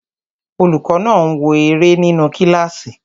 Olùkọ́ náà ń wo eré nínu kílásì